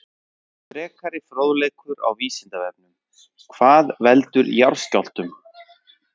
Frekari fróðleikur á Vísindavefnum: Hvað veldur jarðskjálftum?